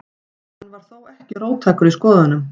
Hann var þó ekki róttækur í skoðunum.